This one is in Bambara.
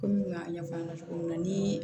Komi n y'a ɲɛfɔ aw ɲɛna cogo min na ni